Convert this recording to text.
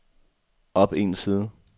op en side